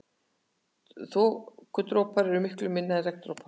Þokudroparnir eru miklu minni en regndropar.